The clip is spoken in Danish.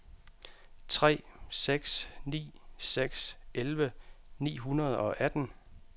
tre seks ni seks elleve ni hundrede og atten